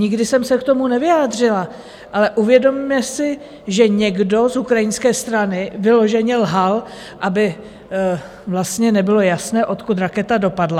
Nikdy jsem se k tomu nevyjádřila, ale uvědomme si, že někdo z ukrajinské strany vyloženě lhal, aby vlastně nebylo jasné, odkud raketa dopadla.